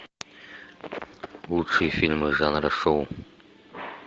лучшие фильмы жанра шоу